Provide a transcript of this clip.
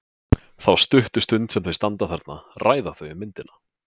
Þá stuttu stund sem þau standa þarna ræða þau um myndina.